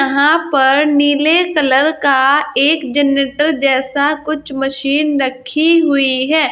यहां पर नीले कलर का एक जनरेटर जैसा कुछ मशीन रखीं हुई है।